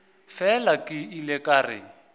fela ke ile ka re